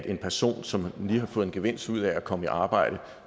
en person som lige har fået en gevinst ud af at komme i arbejde